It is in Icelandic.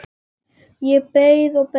Ég beið og beið.